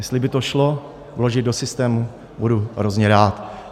Jestli by to šlo vložit do systému, budu hrozně rád.